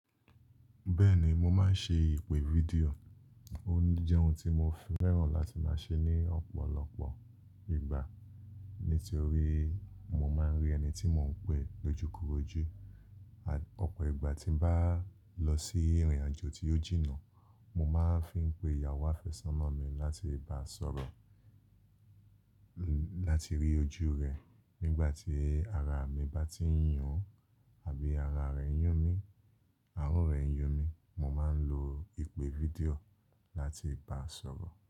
Bẹ́ẹ̀ ni, mo máa ń ṣe ìpè fídíò, ó jẹ́ ohun tí mo fi fẹ́ràn láti máa ṣe ní ọ̀pọ̀lọpọ̀ ìgbà, nítorí mo máa ń rí ẹni tí mò ń pe lójúkorojú. Ọ̀pọ̀ ìgbà tí n bá lọ sí ìrìnàjò tí ó jìnnà, mo máa ń fi pé ìyàwó àfẹ́sọ́nà mi láti bá sọ̀rọ̀, láti rí ojú rẹ̀. Nígbà tí ara mi bá tí ń yùn àbí ara rẹ̀ ń yùn mi, àárọ̀ rẹ̀ ń yùn mi, mo máa ń lo ìpè fídíò láti báa sọ̀rọ̀